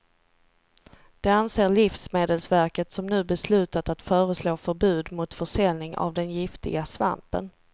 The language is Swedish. Det anser livsmedelsverket som nu beslutat att föreslå förbud mot försäljning av den giftiga svampen.